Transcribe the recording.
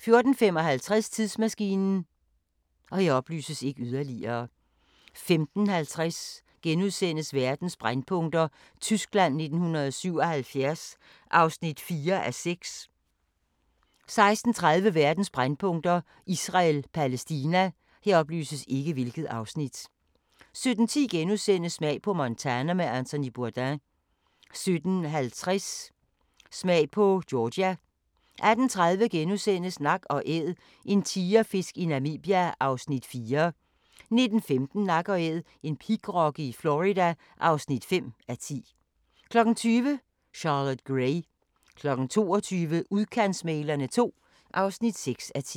14:55: Tidsmaskinen 15:50: Verdens brændpunkter: Tyskland 1977 (4:6)* 16:30: Verdens brændpunkter: Israel-Palæstina 17:10: Smag på Montana med Anthony Bourdain * 17:50: Smag på Georgia 18:30: Nak & Æd – en tigerfisk i Namibia (4:10)* 19:15: Nak & Æd – en pigrokke i Florida (5:10) 20:00: Charlotte Gray 22:00: Udkantsmæglerne II (6:10)